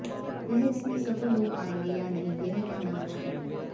वह इसमें सफल हो पायेंगे या नहीं यह कहना मुश्किल है